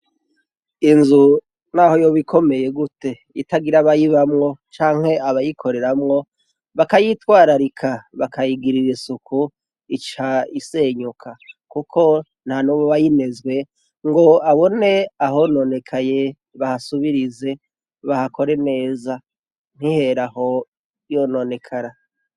Inzu naho yoba ikomeye gute itagira abayibamwo canke abayikoreramwo bakayitwararika bakayigirira isuku ica isenyuka kuko ntanumwe abaayinezwe ngo abone ahononekaye bahasubirize bahakore neza nihere aho yononekara